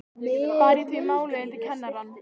Bar ég því málið undir kennarann.